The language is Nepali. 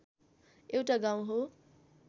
एउटा गाउँ हो